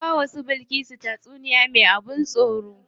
Na bawa su Bilkisu tatsuniya me tsoro sun kasa bacci.